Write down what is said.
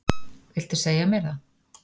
Viltu segja mér það?